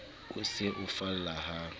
o se o falla ha